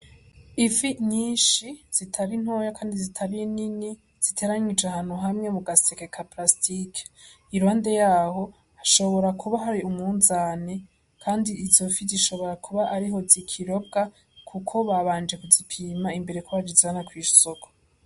Ifi nyinshi zitari ntoyi kandi zitari nini, ziteranirije ahantu hamwe mu gaseke ka palasitike. Iruhande yaho hashobora kuba hari umunzane kandi izo fi zishobora kuba ariho zikirobwa kuko babanje kuzipima imbere yuko bazijana kw'isoko.